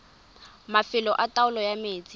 mafelo a taolo ya metsi